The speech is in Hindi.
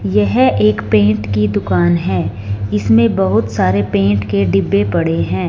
यह एक पेंट की दुकान है इसमें बहुत सारे पेंट के डिब्बे पड़े हैं।